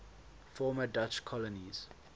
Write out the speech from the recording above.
former dutch colonies